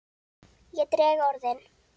Ég dreg orðin.